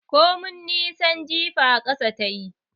Komai nisan jifa ƙasa tayi